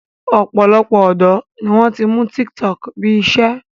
Ọ̀pọ̀lọpọ̀ ọ̀dọ́ ni wọ́n ti mú tiktok bí i iṣẹ́